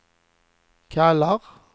kallar